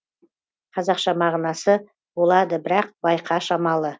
қазақша мағынасы болады бірақ байқа шамалы